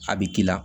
A bɛ k'i la